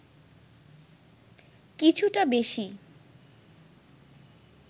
কিছুটা বেশি